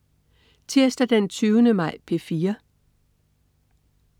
Tirsdag den 20. maj - P4: